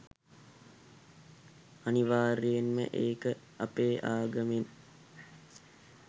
අනිවාර්යෙන්ම ඒක අපේ ආගමෙන්